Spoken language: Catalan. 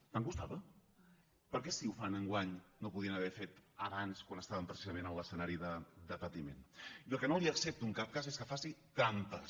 tant costava per què si ho fan enguany no ho podien haver fet abans quan estàvem precisament en l’escenari de patiment i el que no li accepto en cap cas és que faci trampes